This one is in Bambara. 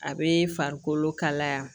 A bɛ farikolo kalaya